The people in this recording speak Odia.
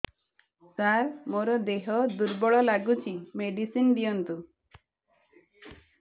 ସାର ମୋର ଦେହ ଦୁର୍ବଳ ଲାଗୁଚି ମେଡିସିନ ଦିଅନ୍ତୁ